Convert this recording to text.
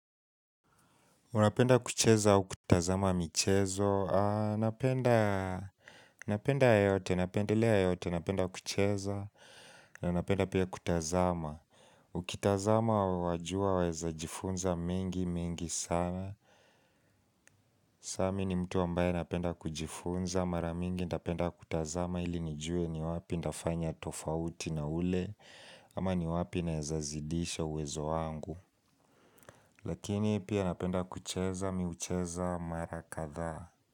Unapenda kucheza au kutazama michezo, napenda, napenda yote, napendelea yote, napenda kucheza na napenda pia kutazama Ukitazama wajua waeza jifunza mengi mengi sana Sami ni mtu ambaye napenda kujifunza, maramingi ntapenda kutazama ili nijue ni wapi ntafanya tofauti na ule Ama ni wapi naezazidisha uwezo wangu Lakini pia napenda kucheza miucheza marakadhaa.